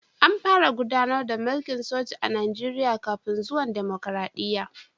An fara gudanar da mulkin soja a Najeriya kafin zuwan dimokradiyya